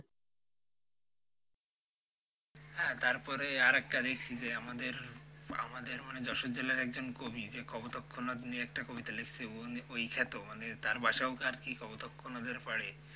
হ্যাঁ তারপরে আরেকটা দিক যে আমাদের আমাদের মানে যশোর জেলার একজন কবি যে কপোতাক্ষ নদ নিয়ে একটা কবিতা লিখছে ওই খ্যাত মানে তার বাসাও আরকি কপোতাক্ষ নদের পাড়ে।